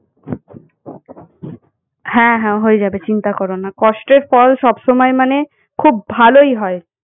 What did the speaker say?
হ্যাঁ হ্যাঁ হয়ে যাবে চিন্তা করোনা কষ্টের ফল সবসময় মানে খুব ভালই হয়।